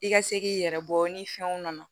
I ka se k'i yɛrɛ bɔ ni fɛnw nana